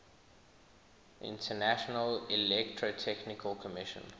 international electrotechnical commission